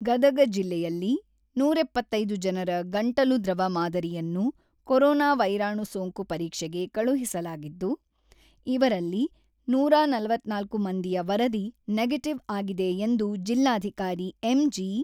ಗದಗ ಜಿಲ್ಲೆಯಲ್ಲಿ ನೂರಎಪ್ಪತ್ತೈದು ಜನರ ಗಂಟಲು ದ್ರವ ಮಾದರಿಯನ್ನು ಕೊರೊನಾ ವೈರಾಣು ಸೋಂಕು ಪರೀಕ್ಷೆಗೆ ಕಳುಹಿಸಲಾಗಿದ್ದು, ಇವರಲ್ಲಿ ನೂರ ನಲವತ್ತ್ನಾಲ್ಕು ಮಂದಿಯ ವರದಿ ನೆಗೆಟಿವ್ ಆಗಿದೆ ಎಂದು ಜಿಲ್ಲಾಧಿಕಾರಿ ಎಂ.ಜಿ.